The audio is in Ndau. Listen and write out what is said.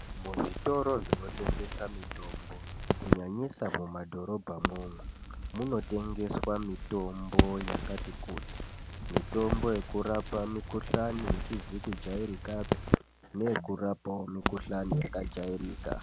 Muzvitoro zvinotengesa mitombo kunyanyisa mumadhorobhamwo umwomwo, munotengeswa mitombo yakati kuti. Mitombo yekurapa mikhuhlani isizi kujairikapi, neyekurapawo mikhuhlani yakajairika.